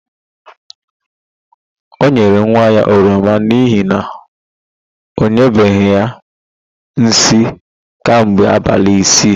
O nyere nwa ya oroma n'ihi na ọ nyụbeghị nsị kemgbe abalị ise.